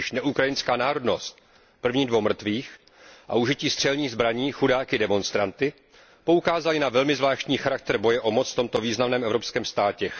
Již neukrajinská národnost prvních dvou mrtvých a užití střelných zbraní chudáky demonstranty poukázaly na velmi zvláštní charakter boje o moc v tomto významném evropském státě.